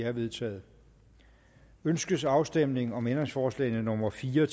er vedtaget ønskes afstemning om ændringsforslagene nummer fire